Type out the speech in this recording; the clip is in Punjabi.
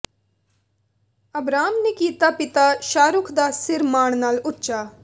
ਅਬਰਾਮ ਨੇ ਕੀਤਾ ਪਿਤਾ ਸ਼ਾਹਰੁਖ ਦਾ ਸਿਰ ਮਾਣ ਨਾਲ ਉੱਚਾ